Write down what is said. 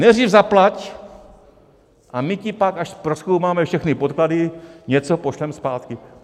Nejdřív zaplať, a my ti pak, až prozkoumáme všechny podklady, něco pošleme zpátky.